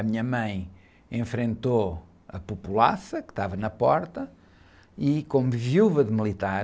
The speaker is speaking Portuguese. A minha mãe enfrentou a populaça que estava na porta e, como viúva de militar,